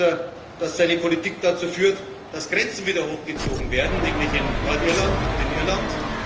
will. Ich erlebe, dass seine Politik dazu führt, dass Grenzen wieder hochgezogen werden, nämlich in Nordirland und in